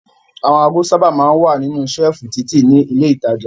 Àwọn ago sábà máa ń wà nínú ṣẹ́lífù títì ní ilé-ìtajà.